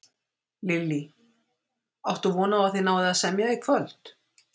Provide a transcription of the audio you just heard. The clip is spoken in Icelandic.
Lillý: Áttu von á að þið náið að semja í kvöld?